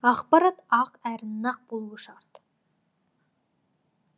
ақпарат ақ әрі нақ болуы шарт